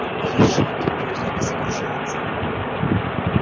видишь компьютер не загружается